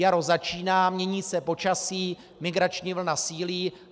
Jaro začíná, mění se počasí, migrační vlna sílí.